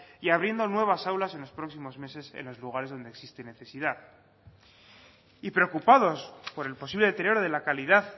y abriendo nuevas aulas en los próximas meses en los lugares donde existe necesidad y preocupados por el posible deterioro de la calidad